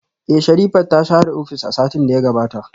Eh, Sherifat ta share ofis a satin da ya gabata